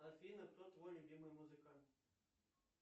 афина кто твой любимый музыкант